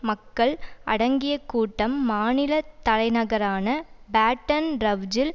மக்கள் அடங்கிய கூட்டம் மாநில தலைநகரான பேட்டன் ரவ்ஜில்